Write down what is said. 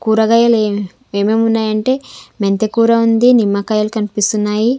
కూరగాయలు ఏం-- ఏమేమి ఉన్నాయి అంటే మెంతుకూర ఉంది నిమ్మకాయలు కనిపిస్తున్నాయి.